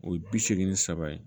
O ye bi seegin ni saba ye